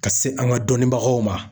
Ka se an ka dɔnnibagaw ma